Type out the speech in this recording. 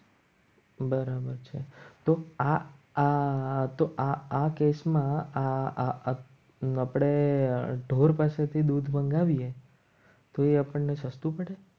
બરાબર છે. તો આ આ કેસમાં આ આ ન પડે ઢોર પાસેથી દૂધ મંગાવીએ તો એ આપણને સસ્તું પડે.